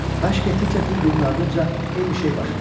Məşq etdikcə bir-birinin ardınca eyni şey baş verirdi.